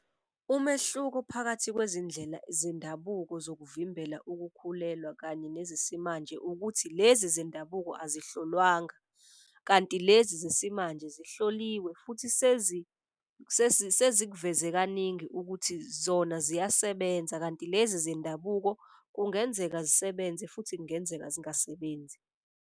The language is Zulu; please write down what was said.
Umehluko phakathi kwezindlela zendabuko zokuvimbela ukukhulelwa kanye nezesimanje ukuthi lezi zendabuko azihlolwanga. Kanti lezi zesimanje zihloliwe futhi sezikuveze kaningi ukuthi zona ziyasebenza kanti lezi zendabuko kungenzeka zisebenze futhi kungenzeka zingasebenzi.